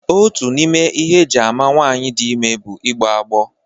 Otu n'ime ihe eji ama nwaanyị dị ime bụ igbọ agbọ.